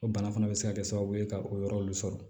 O bana fana bɛ se ka kɛ sababu ye ka o yɔrɔ nunnu sɔrɔ